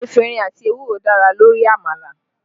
Efinrin àti ewúro dára lórí àmàlà